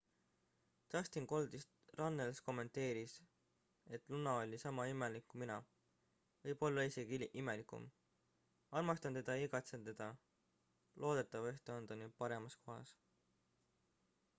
"dustin "goldust" runnels kommenteeris et "luna oli sama imelik kui mina võib-olla isegi imelikum armastan teda ja igatsen teda loodetavasti on ta nüüd paremas kohas.""